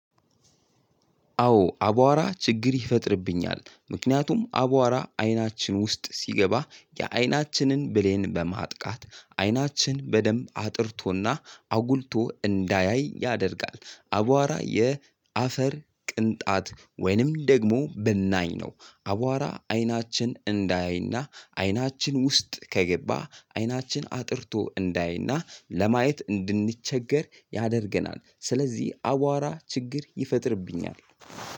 አዎ አቧራ ችግር ይፈጥርብኛል ምክንያቱም አቧራ አይናችን ውስጥ ሲገባ የአይናችንን ብሌን በማጥቃት አይናችን በደንብ አጥርቶና አጉልቶ እንዳያይ ያደርጋል። አቧራ የአፈር ቅንጣት ወይንም ደግሞ ብናኝ ነው። አቧራ አይናችን እንዳያይና አይናችን ውስጥ ከገባ አይናችን አጥርቶ እንዳያይና ለማየት እንድንቸገር ያደርገናል። ስለዚህ አቧራ ችግር ይፈጥርብኛል።